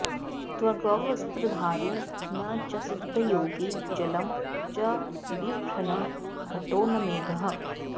त्वग्वस्त्रधारी न च सिद्धयोगी जलं च बिभ्रन्न घटो न मेघः